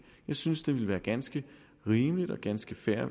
jeg synes det ville være ganske rimeligt og ganske fair